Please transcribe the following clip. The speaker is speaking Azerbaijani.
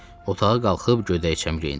Otağa qalxıb gödəkcəmi geyindim.